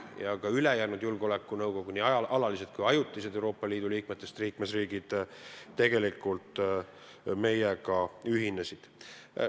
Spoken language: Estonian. Ja teised julgeolekunõukogu nii alalised kui ka ajutised Euroopa Liidu riikidest liikmesriigid tegelikult meiega ühinesid.